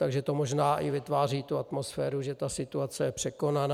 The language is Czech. Takže to možná vytváří i tu atmosféru, že ta situace je překonaná.